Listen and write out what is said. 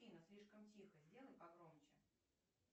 афина слишком тихо сделай погромче